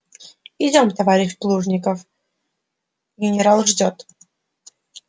идём товарищ плужников генерал ждёт